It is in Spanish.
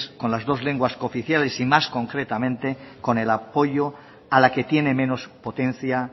con las dos lenguas cooficiales y más concretamente con el apoyo a la que tiene menos potencia